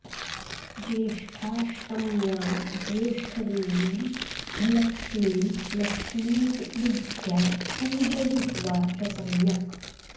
ज्येष्ठाष्टम्यां ज्येष्ठदेवीं ह्यलक्ष्मीं लक्ष्मीति बुद्ध्या पूजयित्वा च सम्यक्